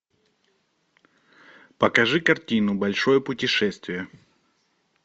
покажи картину большое путешествие